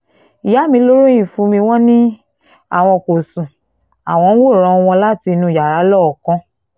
ìyá mi ló ròyìn fún mi wọ́n ni àwọn kò sún àwọn ń wòran wọn láti inú yàrá lọ́ọ̀ọ́kán